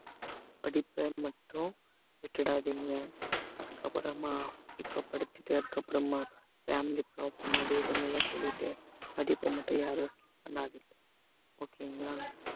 படிப்பை மட்டும் விட்டுடாதீங்க அதுக்கப்புறமா இப்ப படிச்சுட்டு அதுக்கப்புறமா family problem அது இதுனெல்லாம் சொல்லிட்டு படிப்பை மட்டும் யாரும் skip பண்ணாதீங்க okay ங்களா